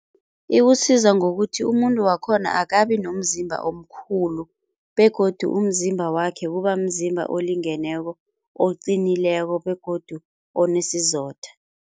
Iwusiza ngokuthi umuntu wakhona akabi nomzimba omkhulu begodu umzimba wakhe kubamzimba olingeneko oqinileko begodu onesizotha.